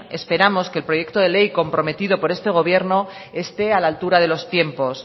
esperamos que el proyecto de ley comprometido por este gobierno esté a la altura de los tiempos